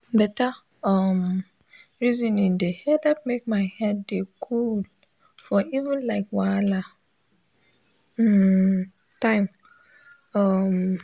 beta um resoning de helep make my head de coolee for even like wahala um time um